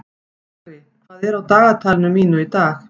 Búri, hvað er á dagatalinu mínu í dag?